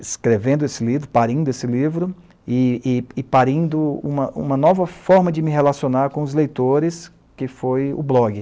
escrevendo esse livro, parindo esse livro, e e e parindo uma uma nova forma de me relacionar com os leitores, que foi o blog.